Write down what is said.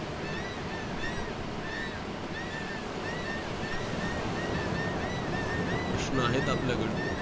प्रश्न आहेत आपल्याकड